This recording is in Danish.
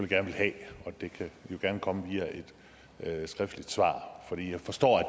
gerne have og det kan jo gerne komme via et skriftligt svar jeg forstår at